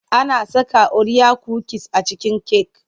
Ana saka oriya kukis a cikin cake.